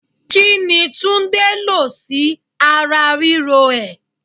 Kini Túndé lọ sí ara ríro ẹ?